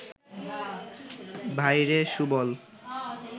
ভাইরে সুবল